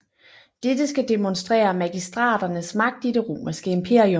Dette skal demonstrere magistraternes magt i det Romerske Imperium